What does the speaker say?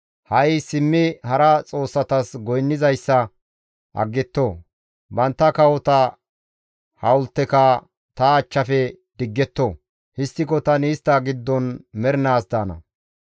Ha7i simmi hara xoossatas goynnizayssa aggetto; bantta kawota hawulteka ta achchafe digetto. Histtiko tani istta giddon mernaas daana.»